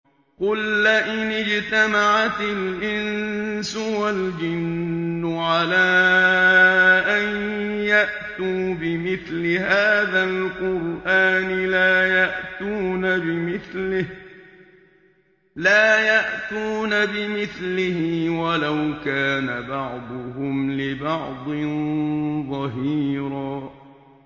قُل لَّئِنِ اجْتَمَعَتِ الْإِنسُ وَالْجِنُّ عَلَىٰ أَن يَأْتُوا بِمِثْلِ هَٰذَا الْقُرْآنِ لَا يَأْتُونَ بِمِثْلِهِ وَلَوْ كَانَ بَعْضُهُمْ لِبَعْضٍ ظَهِيرًا